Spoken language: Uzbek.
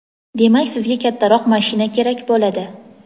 Demak sizga kattaroq mashina kerak bo‘ladi.